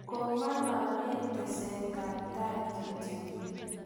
kong'ololen tesetab tai kityo